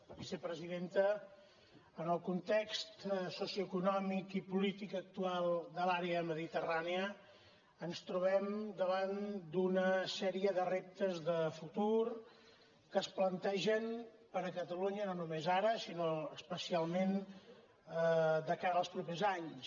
vicepresidenta en el context socioeconòmic i polític actual de l’àrea mediterrània ens trobem davant d’una sèrie de reptes de futur que es plantegen per a catalunya no només ara sinó especialment de cara als propers anys